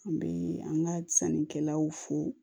An bɛ an ka sannikɛlaw fo